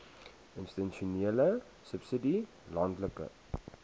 institusionele subsidie landelike